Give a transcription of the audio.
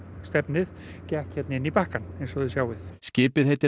stefnið gekk hérna inn í bakkann eins og þið sjáið skipið heitir